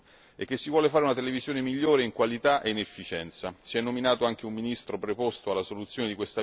Si è nominato anche un ministro preposto alla soluzione di questa vicenda proprio per l'importanza che si dà a quest'aspetto.